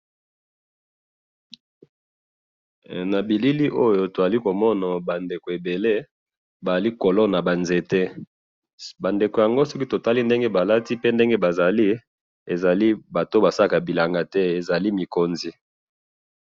he na bilili oyo tozali komona bandeko ebele bazali kolona ba nzete ba ndeko yango soki tomoni ndenge balati ezali batu oyo basalaka bilanga te ezali lokola bongo ba konzi.